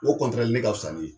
O ka fisa ni